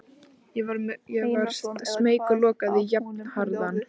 Ég varð smeyk og lokaði jafnharðan.